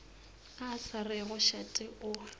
a sa rego šate o